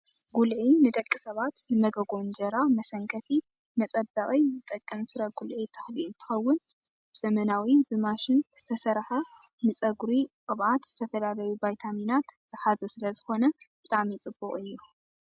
ጉልዒ ንደቂ ሰባት ንመጎጎ እንጀራ መሰንከቲ መፀበቂ ዝጠቀም ፍረ ጉልዒ ተክሊ እንትከውን፣ ብዘመናዊ ብማሽን ዝተሰረሓ ንፀጉሪ ቅብኣት ዝተፈላለዩ ቫይታሚናት ዝሓዘ ስለ ዝኮነ ብጣዕሚ ፅቡቅ እዩ።